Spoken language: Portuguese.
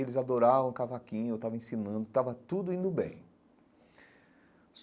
Eles adoravam o cavaquinho, eu estava ensinando, estava tudo indo bem.